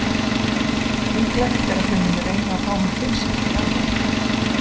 Líklegt er að þau muni reyna að fá hann til sín í janúar.